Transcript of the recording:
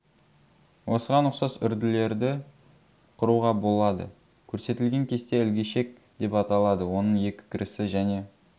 осыған ұқсас үрділерді құруға болады көрсетілген кесте ілгішек деп аталады оның екі кірісі және